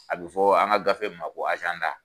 A bɛ fɔ an ka gafe ma ko